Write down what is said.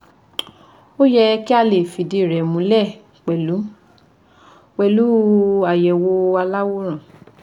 Ó yẹ kí a lè fìdíi rẹ̀ múlẹ̀ pẹ̀lú pẹ̀lú àyẹ̀wò aláwòrán